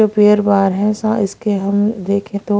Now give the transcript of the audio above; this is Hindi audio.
जो पेयर बाहर है सा इसके हम देखें तो--